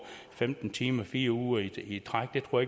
femten timer fire uger i træk det tror